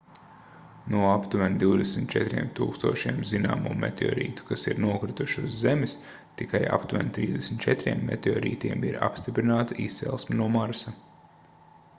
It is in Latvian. no aptuveni 24 000 zināmo meteorītu kas ir nokrituši uz zemes tikai aptuveni 34 meteorītiem ir apstiprināta izcelsme no marsa